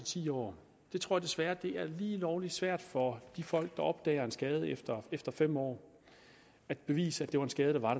ti år jeg tror desværre at det er lige lovlig svært for de folk der opdager en skade efter efter fem år at bevise at det var en skade der var